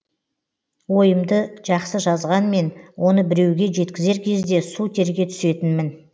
ойымды жақсы жазғанмен оны біреуге жеткізер кезде су терге түсетінмін